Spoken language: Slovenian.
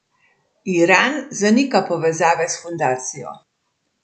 Iran zanika povezave s fundacijo.